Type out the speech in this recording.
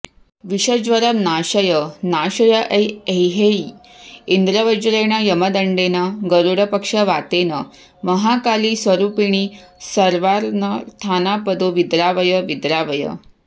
विषज्वरं नाशय नाशय ऐं एह्येहि इन्द्रवज्रेण यमदण्डेन गरुडपक्षवातेन महाकालीस्वरूपिणि सर्वानर्थानापदो विद्रावय विद्रावय